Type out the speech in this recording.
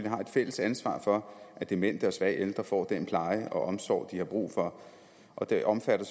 har et fælles ansvar for at demente og svage ældre får den pleje og omsorg de har brug for og det omfatter